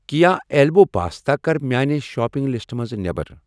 کییا اٮ۪لبو پاستا کَر میانہِ شاپنگ لسٹہٕ منٛز نٮ۪بر۔